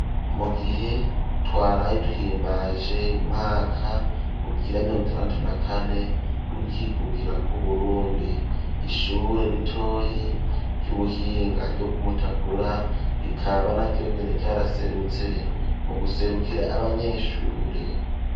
mu gihe twaraye duhimbaje umwaka ugira mirongo itandatu na kane w'ukwikukira k,uburundi ishure ritoyi ry'ubuhinga ryo kumutakura rikaba naryo nyene ryaraserutse mu guserukira abanyeshure.